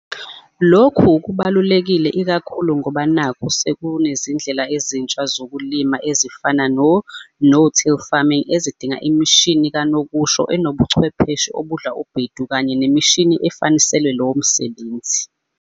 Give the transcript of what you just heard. Lokhu kubalulekile ikakhulu ngoba nakhu sekunezindlela ezintsha zokulima ezifana no no till farming ezidinga imishini kanokusho enobuchwepheshe obudla ubhedu kanye nemishini efaniselwe lowo msebenzi.